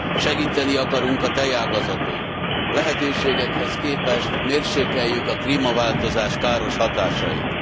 Segíteni akarunk a tejágazaton, lehetőségekhez képest mérsékeljük a klímaváltozás káros hatásait.